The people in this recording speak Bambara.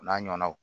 O n'a ɲɔgɔnnaw